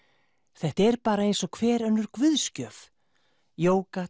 þetta er bara eins og hver önnur guðsgjöf